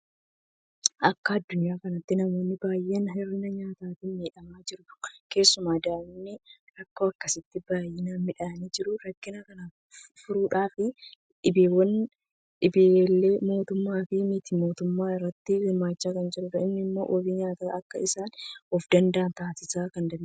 Akka addunyaa kanaatti namoonni baay'een hir'ina nyaataatiin miidhamaa jiru. Keessumaa daa'imman rakkoo akkasiitiin baay'ee miidhamaa jiru. Rakkina kana furuudhaaf dhaabbileen mootummaafi miti mootummaa irratti hirmaachaa jiru. Kun immoo wabii nyaataatiin akka isaan ofdanda'an taasisuu danda'eera.